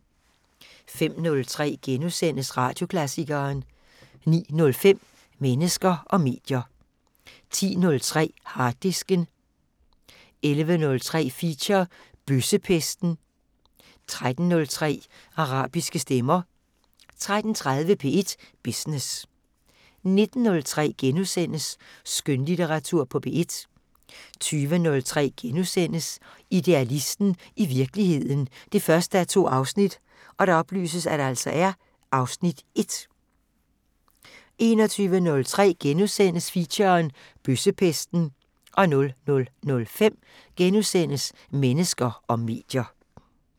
05:03: Radioklassikeren * 09:05: Mennesker og medier 10:03: Harddisken 11:03: Feature – Bøssepesten 13:03: Arabiske stemmer 13:30: P1 Business 19:03: Skønlitteratur på P1 * 20:03: Idealisten – i virkeligheden 1:2 (Afs. 1)* 21:03: Feature – Bøssepesten * 00:05: Mennesker og medier *